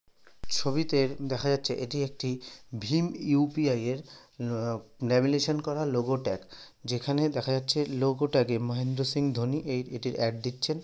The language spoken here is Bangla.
ছবিতে দেখা যাচ্ছে এটি একটি ভীম ইউ.পি.আই. -এর অ্যাম লেমিনেশন করা লোগো ট্যাগ যেখানে দেখা যাচ্ছে লোগো ট্যাগে মহেন্দ্র সিং ধোনির এ-এটির অ্যাড দিচ্ছেন।